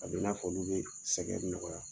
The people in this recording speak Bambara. A bɛ n'a fɔ nin bɛ sɛgɛn nɔgɔya